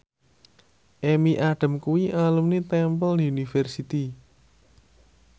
Amy Adams kuwi alumni Temple University